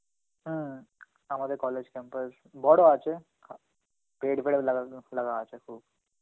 হম আমাদের college campus বড় আছে Hindi ফের লাগানো, লাগা আছে খুব.